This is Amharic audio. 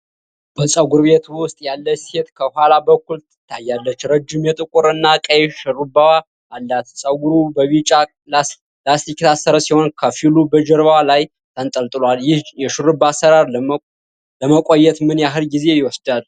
በፀጉር ቤት ውስጥ ያለች ሴት ከኋላ በኩል ትታያለች፣ ረጅም የጥቁር እና ቀይ ሽሩባዎች አላት። ጸጉሩ በቢጫ ላስቲክ የታሰረ ሲሆን፣ ከፊሉ በጀርባዋ ላይ ተንጠልጥሏል። ይህ የሽሩባ አሠራር ለመቆየት ምን ያህል ጊዜ ይወስዳል?